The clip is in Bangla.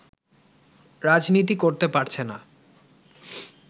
রাজনীতি করতে পারছেনা